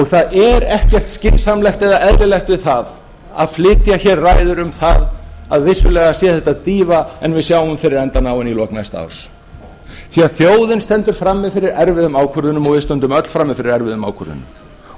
það er ekkert skynsamlegt eða eðlilegt við það að flytja hér ræður um það að vissulega sé þetta dýfa en við sjáum fyrir endann á henni í lok næsta árs því þjóðin stendur frammi fyrir erfiðum ákvörðunum og við stöndum öll frammi fyrir erfiðum ákvörðunum og við eigum